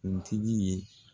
untigi ye